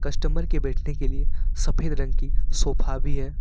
Customer के बैठने के लिए सफेद रंग की सोफा भी है।